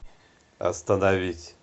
остановить